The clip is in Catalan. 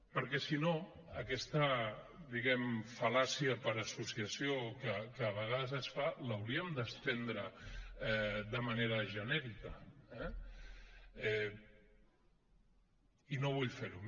perquè si no aquesta diguem ne fal·làcia per associació que a vegades es fa l’hauríem d’estendre de manera genèrica eh i no vull fer ho